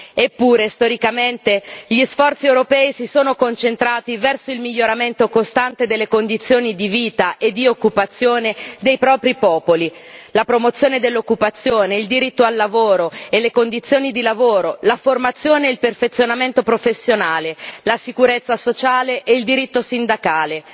Eppure, storicamente, gli sforzi europei si sono concentrati verso il miglioramento costante delle condizioni di vita e di occupazione dei propri popoli la promozione dell'occupazione, il diritto al lavoro e le condizioni di lavoro, la formazione, il perfezionamento professionale, la sicurezza sociale e il diritto sindacale.